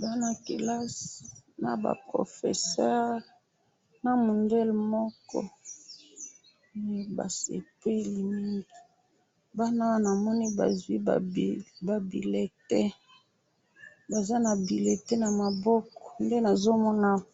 bana yakelasi naba professeurs, namundele moko, basepeli mingi, bana namoni baswi ba bulletins, Baza na bulletin namaboko, nde nazomona awa.